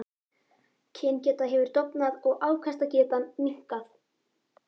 Kyngeta hefur dofnað og afkastagetan minnkað.